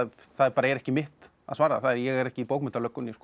er ekki mitt að svara ég er ekki í